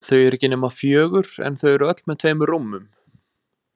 Þau eru ekki nema fjögur en þau eru öll með tveimur rúmum.